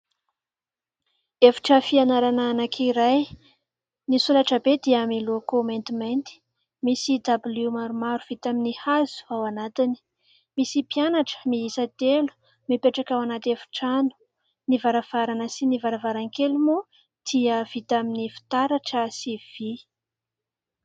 Efitra fianarana anankiray, ny solaitra be dia miloko maintimainty; misy dabilio maromaro vita amin'ny hazo ao anatiny ; misy mpianatra miisa telo mipetraka ao anaty efitrano ; ny varavarana sy ny varavarankely moa tia vita amin'ny fitaratra sy vy.